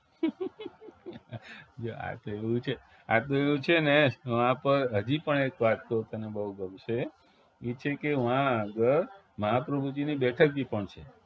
જો આ તો એવું છે આ તો એવું છે ને હા પણ હજી પણ એક વાત કવ તને બવ ગમશે ઈ છે કે વા આગળ મહાપ્રભુજીની બેઠક પણ છે